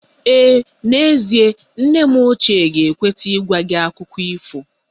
Ee n'ezie, nne m ochie ga-ekweta ịgwa gị akụkọ ifo